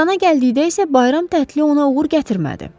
Qrana gəldikdə isə bayram tərtili ona uğur gətirmədi.